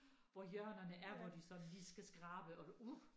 Hvor hjørnerne er hvor de sådan lige skal skrabe og uh